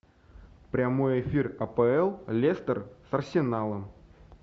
прямой эфир апл лестер с арсеналом